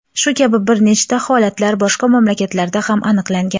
Shu kabi bir nechta holatlar boshqa mamlakatlarda ham aniqlangan.